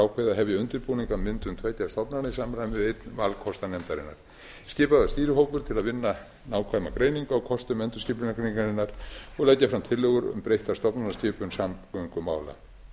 ákveðið að hefja undirbúning að myndun tveggja stofnana í samræmi við einn valkosta nefndarinnar skipaður var stýrihópur til að vinna nákvæma greiningu á kostum endurskipulagningarinnar og leggja fram tillögur um breytta stofnanaskipun samgöngumála